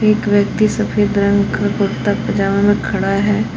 एक व्यक्ति सफेद रंग का कुर्ता पजामा में खड़ा है।